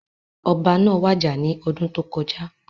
Ọba náà wàjà ní ọdún tó kọjá